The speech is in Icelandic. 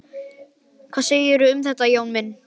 Hvað segirðu um þetta, Jón minn?